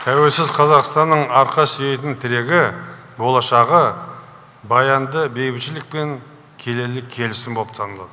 тәуелсіз қазақстанның арқа сүйейтін тірегі болашағы баянды бейбітшілік пен келелі келісім боп саналады